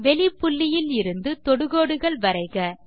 வெளிப்புள்ளியிலிருந்து தொடுகோடுகள் வரைக